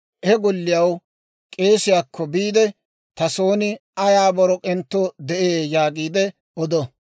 he golliyaw k'eesiyaakko biide, ‹Ta son ayaa borok'entto de'ee› yaagiide odo.